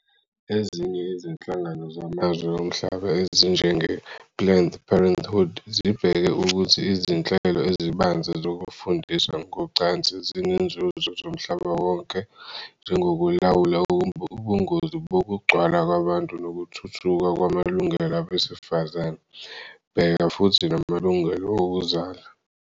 Ezinye izinhlangano zamazwe omhlaba ezinjengePlanned Parenthood zibheka ukuthi izinhlelo ezibanzi zokufundisa ngocansi zinezinzuzo zomhlaba wonke, njengokulawula ubungozi bokugcwala kwabantu nokuthuthuka kwamalungelo abesifazane, bheka futhi namalungelo okuzala.